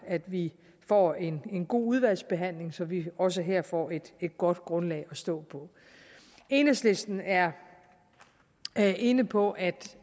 at vi får en god udvalgsbehandling så vi også her får et godt grundlag at stå på enhedslisten er inde på at